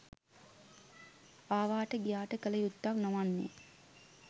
ආවාට ගියාට කළ යුත්තක් නොවන්නේ